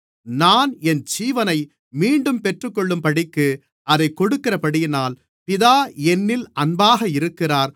நான் என் ஜீவனை மீண்டும் பெற்றுக்கொள்ளும்படிக்கு அதைக் கொடுக்கிறபடியினால் பிதா என்னில் அன்பாக இருக்கிறார்